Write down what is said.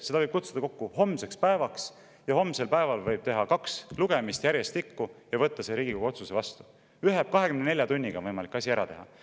Selle võib kutsuda kokku homseks päevaks ja homsel päeval võib teha kaks lugemist järjestikku ja võtta see Riigikogu otsus vastu – 24 tunniga on võimalik asi ära teha.